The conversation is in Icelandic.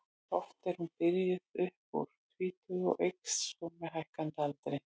Oft er hún byrjuð upp úr tvítugu og eykst svo með hækkandi aldri.